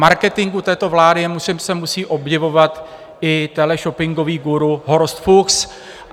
Marketingu této vlády se musí obdivovat i teleshoppingový guru Horst Fuchs.